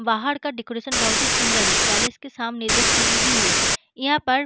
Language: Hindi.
बाहड़ का डेकोरेशन बहुत ही सुंदर है पैलेस के सामने दो सीढ़ी भी है यहां पर --